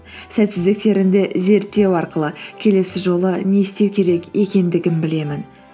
сәтсіздіктерімді зерттеу арқылы келесі жолы не істеу керек екендігін білемін